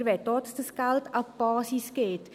Wir wollen auch, dass dieses Geld an die Basis geht.